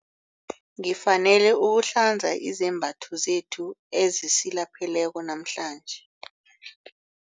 Ngifanele ukuhlanza izembatho zethu ezisilapheleko namhlanje.